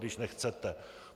Když nechcete.